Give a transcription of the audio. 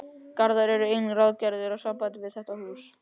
Garðar eru einnig ráðgerðir í sambandi við þetta hús.